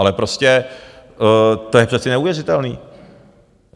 Ale prostě to je přece neuvěřitelný.